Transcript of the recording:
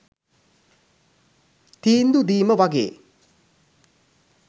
තීන්දු දීම වගේ.